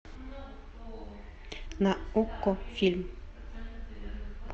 на окко фильм